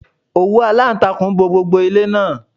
Òwú aláǹtakùn bo gbogbo ilé náà.